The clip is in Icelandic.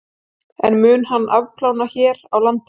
En mun hann afplána hér á landi?